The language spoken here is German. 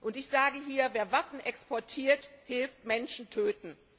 Und ich sage hier Wer Waffen exportiert, hilft Menschen töten!